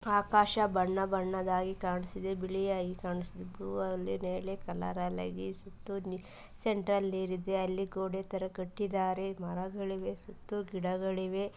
ಆಕಾಶ ಬಣ್ಣ ಬಣ್ಣದಾಗಿ ಕಾಣಿಸಿದೆ ಬಿಯಾಗಿ ಕಾಣಿಸು ಬ್ಲ್ಯೂ ಅಲ್ಲಿ ನೇರಳೆ ಕಲರ್ ಸೆಂಟರ್ ಅಲ್ಲಿ ನೀರು ಇದೆ ಅಲ್ಲಿ ಗೋಡೆತರ ಕಟ್ಟಿದರೆ ಮರಗಳಿವೆ ಸುತ್ತು ಗಿಡಗಳಿವೆ.